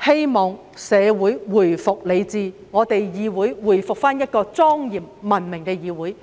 讓社會回復理智，讓立法會回復為莊嚴及文明的議會。